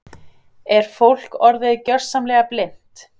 Er fólk orðið gjörsamlega blint?